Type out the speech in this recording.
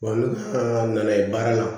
nana ye baara la